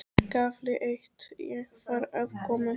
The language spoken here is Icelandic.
KAFLI EITT Ég var að koma heim.